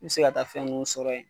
Mi se ka taa fɛn nun sɔrɔ yen